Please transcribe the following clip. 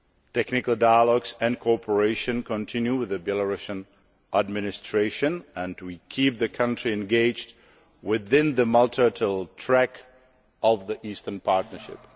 Technical dialogues and cooperation continue with the Belarusian administration, and we are keeping the country engaged within the multilateral track of the Eastern Partnership.